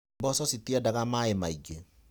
Mboco citiendaga maaĩ maingĩ.